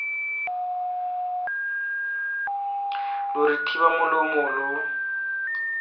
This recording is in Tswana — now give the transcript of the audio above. re lo thiba molomo lo